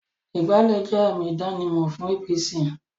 Ìgbálẹ́ jẹ́ àmì ìdánimọ̀ fún APC